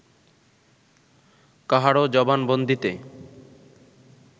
কাহারও জবানবন্দীতে